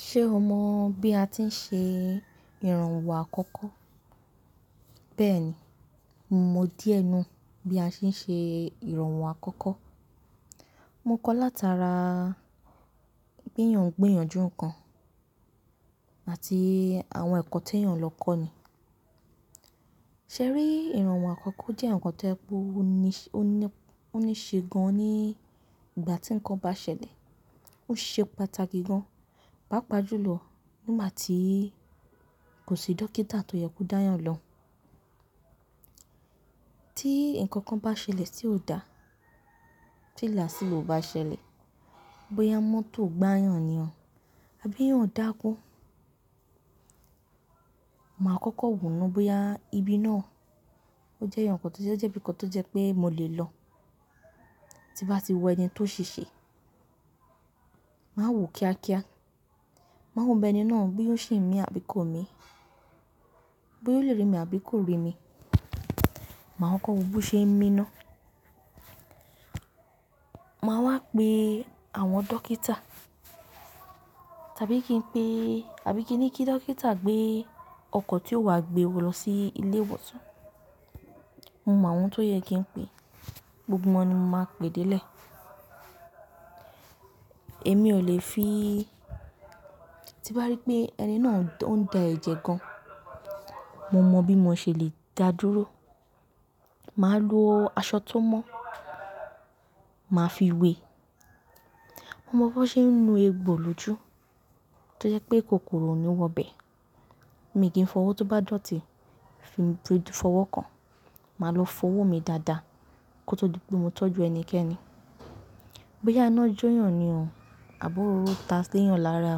Ṣe o mọ bi a ti n ṣe iranwo akọkọ? Bẹẹni, mo mọ diẹ nu bi a ṣe n ṣe iranwo akọkọ. Mo kọ latara gbiyan-gbiyanju nkan ati awọn eko ti eyan lo kọ ni. Se ri, iranwo akọkọ jẹ nkan to je pe o ni ṣe gan ni igba ti nkan ba ṣẹlẹ. O se pataki gan, papa julọ ngba ti ko si dokita to yẹ ko da yan lohun. Ti nkankan ba ṣẹlẹ ti o da, ti laasigbo ba ṣẹlẹ, boya mọto gba yan ni abi eeyan n dakun, ma kọkọ wo naa boya ibi naa jẹ ibi kan to jẹ pe mo le lọ, ti n ba ti wo ẹni to ṣese. Ma wo kiakia, ma wo bi ẹni naa boya o ṣi n mi abi ko mi, boya o le ri mi abi ko ri mi. Ma kọkọ wo bo ṣe n mi naa. Ma wa pe àwọn dokita tabi ki n pe, abi ki n ni ki dokita gbe ọkọ ti yoo wa gbe wo lọ si ile-iwosan. Mo mọ àwọn to yẹ ki n pe, gbogbo wọn ni mo ma pe de ile. Emi o le fi, ti ba ri pe ẹni naa n da ẹjẹ gan, mo mọ bi mo ṣe le da duro. Ma lo aṣọ to mọ, ma fi we. Mo mọ bo ṣe n nu egbo loju to jẹ pe kokoro ni o wọ bẹ. Mi ki n fọwọ to ba dọti, fi, fọwọ kan, ma lo fọwọ mi dada ki o to di pe mo tọju ẹnikẹni. Boya ina joyan niyan abi ọrọ ta si eeyàn lára,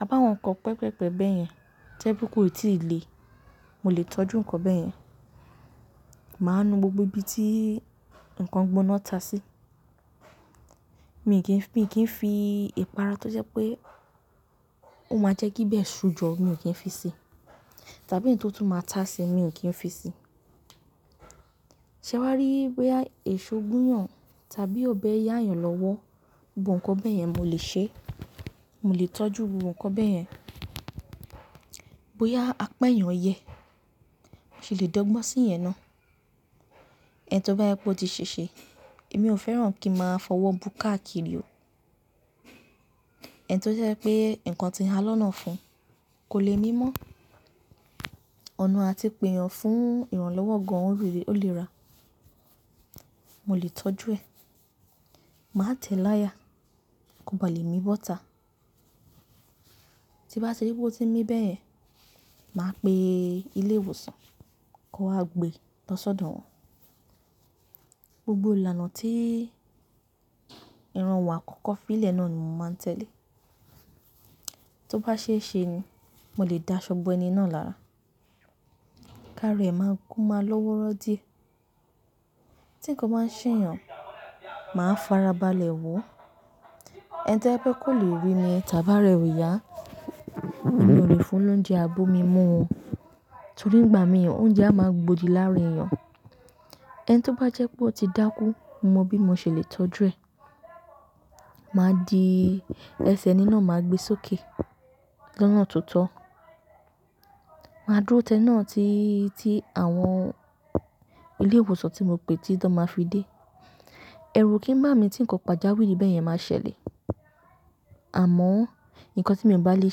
abi àwọn nkan pẹpẹpẹpẹ bẹyẹn to je pe ko i ti le, mo le tọju nkan bẹyẹn. Ma nu gbogbo ibi ti nkan gbona ta si. Mi ki n fi ipara to jẹ pe o ma jẹ ki bẹ ṣu jọ, mi ki n fi si. Tabi eyi to tun ma ta si, mi ki n fi si se wa ri boya eso gunyan tabi obẹ yayan lọwọ, gbogbo nkan bẹyẹn mo le ṣe. Mo le tọju gbogbo nkan bẹyẹn. Boya apa eeyan yẹ, mo si le dọgbọn si iyen naa. Eni to ba jẹ pe o ti ṣese, emi o fẹran ki n ma fọwọ bu káàkiri o. Eni to jẹ pe nkan ti han lọ́nà ofún, ko le mimọ, ọna ati pe eyan n fun iranlọwọ gan, o ri, o le ra. Mo le tọju ẹ. Ma tẹ laya, ko ba le mi bọ́ta. Ti ba ti ri pe o ti n mi bẹyẹn, ma pe ile-iwosan ki o wa gbe lọ sọdọ wọn. Gbogbo ilana ti iranwo akọkọ fi ile naa ni mo ma n tẹle. To ba ṣe ẹ ṣe ni, mo le da aṣọ bọ ẹni naa lara, kaara ẹ ma, ko ma looworo diẹ. Ti nkankan ba ṣe eyan, ma farabalẹ wo. Eni to je pe ko le ri mi tabi ara ẹ o ya, emi o le fun lọunje abomí mú o. Torí ìgbà míran ounje a ma gbodì láàára èèyàn. Enito ba jẹ pe o ti daku, mo mọ bi mo ṣe le tọju ẹ. Ma di ẹsẹ eni naa ma gbe soke lọ́nà tó tó. Ma duro ti eni naa ti ti àwọn ilé-iwosan ti mo pè ti tan ma fi dé. Ẹrú o kín bá mi ti nkan pajawiri bẹyẹn ma ṣẹlẹ. Àmọ, nkankan ti mo ba lè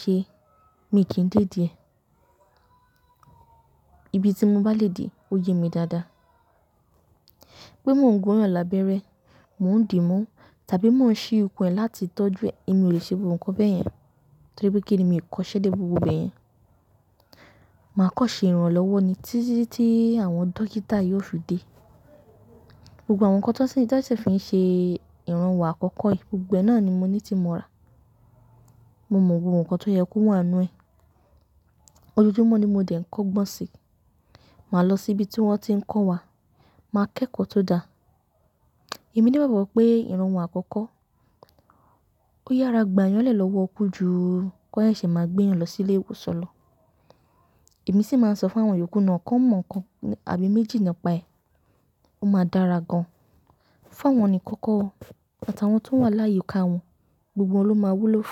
ṣe, mi ki n dédi ẹ. Ibi ti mo ba le dè o ye mi dada. Pe mo n gun'yan labẹrẹ, mo n di mu tabi mo n ṣi ikun ẹ lati tọju ẹ, ẹmi o le ṣe gbogbo nkan bẹyẹn. Tori pe kinni? Mi o kose de gbogbo ibeyen. Ma kọ ṣe iranlọwọ ni titi ti àwọn dokita yóò fi dé. Gbogbo àwọn nkan to ṣi fi ṣe iranwo àkọ́kọ́, gbogbo ẹ náà ni mo ní ti mo ra. Mo mọ gbogbo nkan to yẹ kó wà nínú ẹ. Ojojumo ni mo dẹ̀ ń kọ́ gbọ̀n si. Màá lọ sí ibi tí wọn ti n kọ́ wa, màá kẹ́kọ̀ọ́ tó dáa. Ẹ̀mí ní gbagbo pé ìranwọ àkọ́kọ́, ó yára gba'yàn lẹ̀ lọ́wọ́ kú ju kí wọ́n sẹ́ṣe má gbé èèyàn lọ sí ilé ìwòsàn lọ. Ẹ̀mí sì máa n sọ̀ fún àwọn yòókù náà kàn mọ̀ nkan abi méjì náà paẹ́. Ó máa dára gan. Fawon nikan ko o, ati awon to wa layiika won, gbogbo won lo maa wulo fun.